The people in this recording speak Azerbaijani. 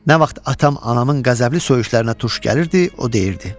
Nə vaxt atam anamın qəzəbli soyuşlarına tuş gəlirdi, o deyirdi: